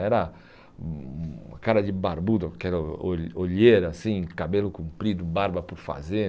Era hum uma cara de barbudo, aquela o olheira assim, cabelo comprido, barba por fazer.